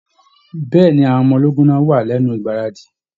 Bẹ̀ẹ́ni, àwọn ọmọ ológun náà wà lẹnu igbaradi.